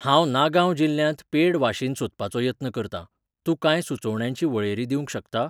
हांव नागांव जिल्ल्यांत पेड वाशीन सोदपाचो यत्न करतां, तूं कांय सुचोवण्यांची वळेरी दिवंक शकता?